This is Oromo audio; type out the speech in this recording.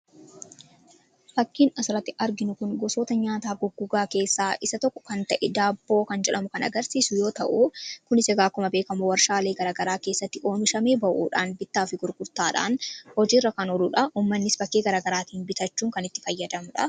fakkiin asalatti arginu kun gosoota nyaataa guggugaa keessaa isa tokko kan ta'e daabboo kan jelhamu kan agarsiisu yoo ta'u kn9000 beekamoo warshaalee garagaraa keessatti oomishamee ba'uudhaan bittaa fi gurgurtaadhaan hojiirra kan holuudha ommannis bakkee garagaraatiin bitachuu kan itti fayyadamudha